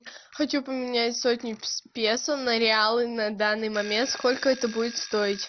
хочу поменять сотню песо на реалы на данный момент сколько это будет стоить